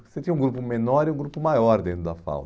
Você tinha um grupo menor e um grupo maior dentro da FAU.